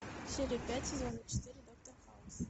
серия пять сезона четыре доктор хаус